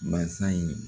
Basa in